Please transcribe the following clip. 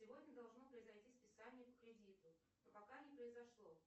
сегодня должно произойти списание по кредиту но пока не произошло